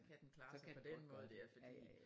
Så kan den klare sig på den måde der fordi